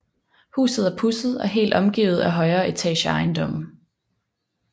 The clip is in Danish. Huset er pudset og helt omgivet af højere etageejendomme